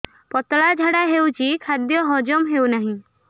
ପତଳା ଝାଡା ହେଉଛି ଖାଦ୍ୟ ହଜମ ହେଉନାହିଁ